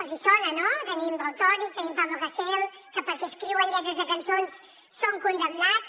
els hi sona no tenim valtònyc tenim pablo hasél que perquè escriuen lletres de cançons són condemnats